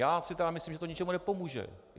Já si tedy myslím, že to ničemu nepomůže.